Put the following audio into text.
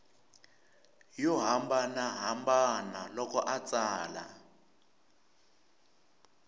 yo hambanahambana loko a tsala